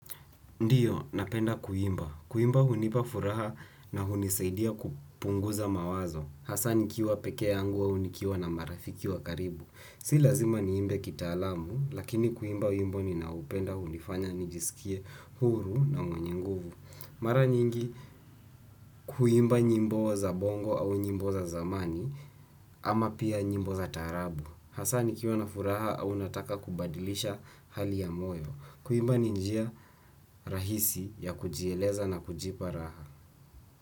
Ndiyo, napenda kuimba. Kuimba hunipa furaha na hunisaidia kupunguza mawazo. Hasa nikiwa peke yangu au nikiwa na marafiki wa karibu. Si lazima niimbe kitaalamu, lakini kuimba wimbo ni naupenda hunifanya nijisikie huru na mwenye nguvu. Mara nyingi, kuimba nyimbo za bongo au nyimbo za zamani, ama pia nyimbo za taarabu. Hasa nikiwa na furaha au nataka kubadilisha hali ya moyo. Kuimba ni njia rahisi ya kujieleza na kujipa raha.